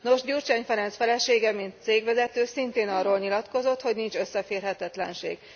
Nos, Gyurcsány Ferenc felesége mint cégvezető szintén arról nyilatkozott, hogy nincs összeférhetetlenség.